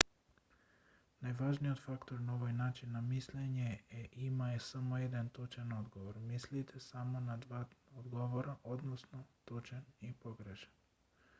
најважниот фактор на овој начин на мислење е има само еден точен одговор мислите само на два одговора односно точен или погрешен